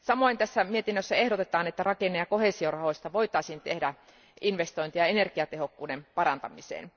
Samoin tässä mietinnössä ehdotetaan, että rakenne ja koheesiorahoista voitaisiin tehdä investointeja energiatehokkuuden parantamiseen.